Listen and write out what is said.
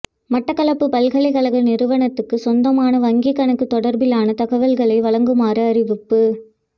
மட்டக்களப்பு பல்கலைக்கழக நிறுவனத்துக்கு சொந்தமான வங்கிக் கணக்கு தொடர்பிலான தகவல்களை வழங்குமாறு அறிவிப்பு